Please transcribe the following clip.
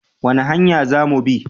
Wani hanya za mu bi?